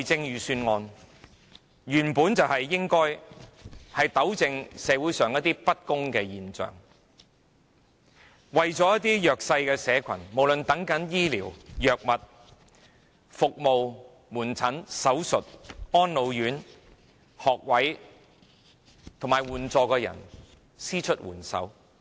預算案原本就是應該糾正社會上一些不公的現象，為了一些弱勢社群，無論是等候醫療、藥物、門診服務、手術、安老院、學位和援助的人伸出援手。